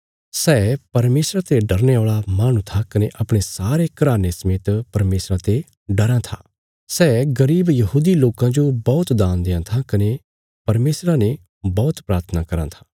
सै परमेशरा ते डरने औल़ा माहणु था कने अपणे सारे घराने समेत परमेशरा ते डराँ था सै गरीब यहूदी लोकां जो बौहत दान देआं था कने परमेशरा ने बौहत प्राथना कराँ था